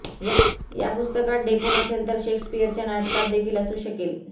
या पुस्तकात ढेकूण असेल तर शेक्सपिअरच्या नाटकात देखील असू शकेल